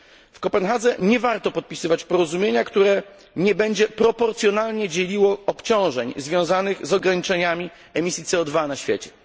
W Kopenhadze nie warto podpisywać porozumienia, które nie będzie proporcjonalnie dzieliło obciążeń związanych z ograniczeniami emisji CO 2 na świecie.